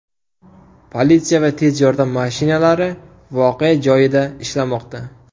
Politsiya va tez yordam mashinalari voqea joyida ishlamoqda.